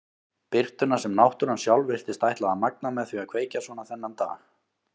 Birtuna sem náttúran sjálf virtist ætla að magna með því að kveikja svona þennan dag.